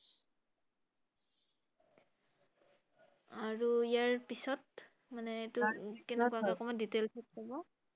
আৰু ইয়াৰ পিছত মানে এইটো কেনেকুৱাকে অকণমান details ত ক‘ব ৷